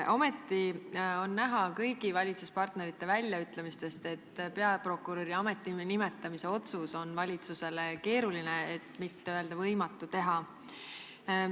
Samas on kõigi valitsuspartnerite väljaütlemistest näha, et peaprokuröri ametisse nimetamise otsust on valitsusel keeruline, kui mitte võimatu teha.